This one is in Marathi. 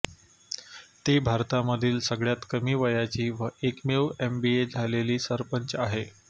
ती भारतामधील सगळ्यात कमी वयाची व एकमेव एमबीए झालेली सरपंच आहे